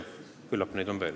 Küllap neid on veel.